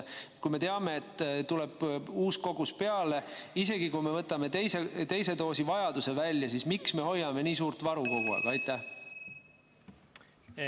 Kui me teame, et tuleb uus kogus peale, isegi kui me võtame teise doosi koguse välja, siis miks me hoiame nii suurt varu kogu aeg?